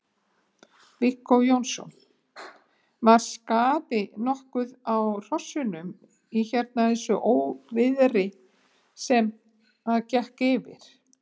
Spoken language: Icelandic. Viggó Jónsson: Var skaði nokkuð á hrossunum í hérna þessu óviðri sem að gekk yfir?